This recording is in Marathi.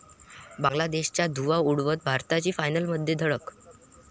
बांगलादेशचा धुव्वा उडवत भारताची फायनलमध्ये धडक